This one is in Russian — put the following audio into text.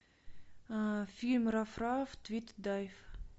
фильм раф раф твит и дайв